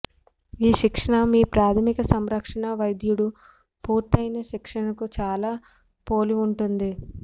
ఈ శిక్షణ మీ ప్రాథమిక సంరక్షణా వైద్యుడు పూర్తయిన శిక్షణకు చాలా పోలి ఉంటుంది